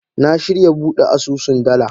Na shirya bude asusun dala.